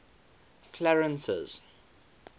clarence's